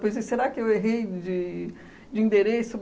Depois disse, será que eu errei de de endereço?